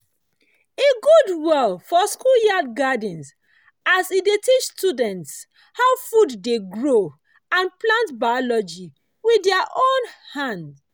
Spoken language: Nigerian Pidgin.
e good well for schoolyard gardens as e dey teach students how food dey grow and plant biology with their own hand.